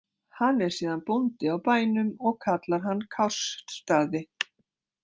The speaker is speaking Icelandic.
Hann er síðan bóndi á bænum og kallar hann Kársstaði.